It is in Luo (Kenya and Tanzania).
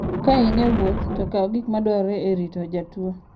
Ka in e wuoth, to kaw gik madwarore e rito jatuwo.